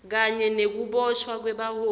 kanye nekuboshwa kwebaholi